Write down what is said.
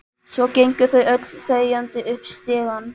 Svo gengu þau öll þegjandi upp stigann.